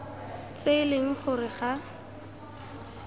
tse e leng gore ga